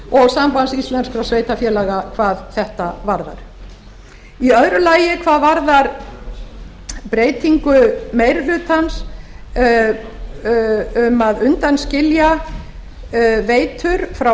og sambands íslenskra sveitarfélaga hvað þetta varðar í öðru lagi hvað varðar breytingu meiri hlutans um að undanskilja veitur frá